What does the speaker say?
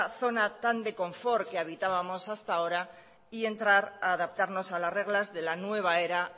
zona tan de confort que habitábamos hasta ahora y entrar ha adaptarnos a las reglas de la nueva era